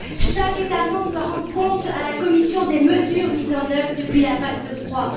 Chaque État membre doit rendre compte à la Commission des mesures mises en œuvre depuis la vague de froid.